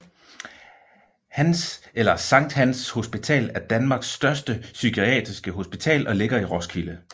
Hans eller Sankt Hans Hospital er Danmarks største psykiatriske hospital og ligger i Roskilde